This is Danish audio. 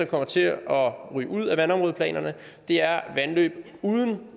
kommer til at ryge ud af vandområdeplanerne er vandløb uden